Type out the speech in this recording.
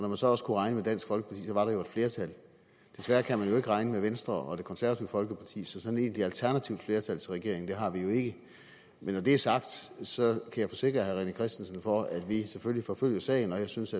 man så også kunne regne med dansk folkeparti var der jo et flertal desværre kan man jo ikke regne med venstre og det konservative folkeparti så sådan et egentligt alternativt flertal til regeringen har vi jo ikke men når det er sagt så kan jeg forsikre herre rené christensen for at vi selvfølgelig forfølger sagen og jeg synes